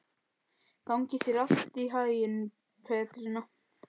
Gangi þér allt í haginn, Petrína.